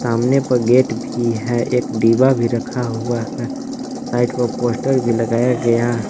सामने पर गेट भी है एक दीवा भी रखा हुआ है साइड पर पोस्टर भी लगाया गया।